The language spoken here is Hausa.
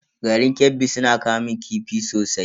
Garin Kebbi suna kamun kifi sosai.